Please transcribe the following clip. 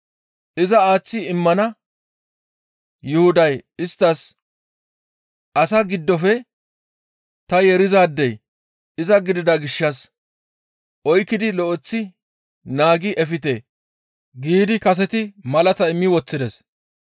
Iza aaththi immana Yuhuday isttas, «Asa giddofe ta yeerizaadey iza gidida gishshas oykkidi lo7eththi naagi efte» giidi kaseti malata immi woththides.